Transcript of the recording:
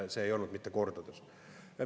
See ei olnud kordades.